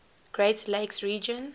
great lakes region